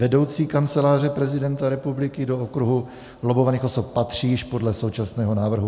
Vedoucí Kanceláře prezidenta republiky do kruhu lobbovaných osob patří již podle současného návrhu.